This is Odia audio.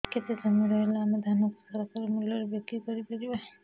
କେତେ ଜମି ରହିଲେ ଆମେ ଧାନ କୁ ସରକାରୀ ମୂଲ୍ଯରେ ବିକ୍ରି କରିପାରିବା